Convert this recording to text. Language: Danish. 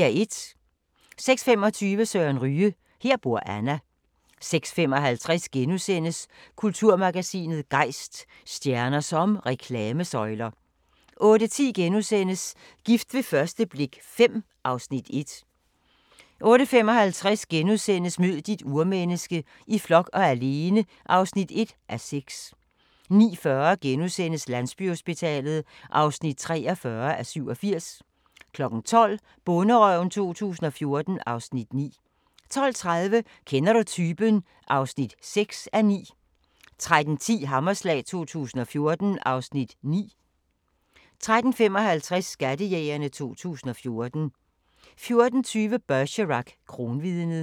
06:25: Søren Ryge: Her bor Anna 06:55: Kulturmagasinet Gejst: Stjerner som reklamesøjler * 08:10: Gift ved første blik V (Afs. 1)* 08:55: Mød dit urmenneske - i flok og alene (1:6)* 09:40: Landsbyhospitalet (43:87)* 12:00: Bonderøven 2014 (Afs. 9) 12:30: Kender du typen? (6:9) 13:10: Hammerslag 2014 (Afs. 9) 13:55: Skattejægerne 2014 14:20: Bergerac: Kronvidnet